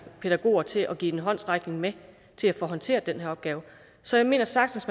pædagoger til at kunne give en håndsrækning med at håndtere den her opgave så jeg mener sagtens